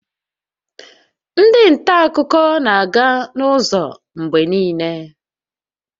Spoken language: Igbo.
Ndị nta akụkọ na-aga n'ụzọ mgbe niile